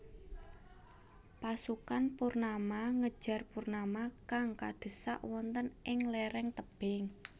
Pasukan Purnama ngejar Purnama kang kadhesak wonten ing léréng tebing